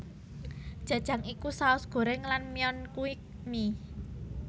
Jajang iku saos goreng lan myeon kui mie